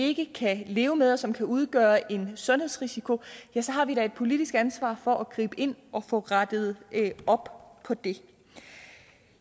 ikke kan leve med og som kan udgøre en sundhedsrisiko ja så har vi da et politisk ansvar for at gribe ind og få rettet op på det